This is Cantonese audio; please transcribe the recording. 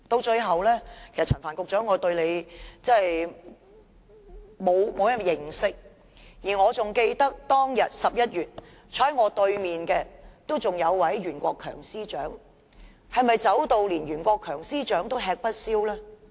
最後，我其實不甚認識陳帆局長，我記得11月時，坐在我對面的還是前任司長袁國強，是否連袁國強司長也吃不消呢？